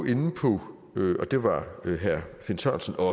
inde på det var herre finn sørensen og